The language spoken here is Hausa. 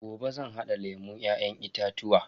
Gobe zan hada lemun Ya'yan itatuwa.